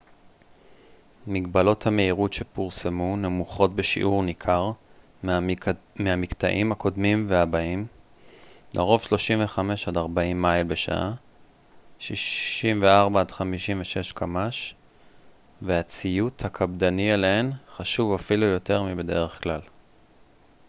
"מגבלות המהירות שפורסמו נמוכות בשיעור ניכר מהמקטעים הקודמים והבאים - לרוב 35-40 מייל בשעה 56 - 64 קמ""ש - והציות הקפדני אליהן חשוב אפילו יותר מבדרך כלל.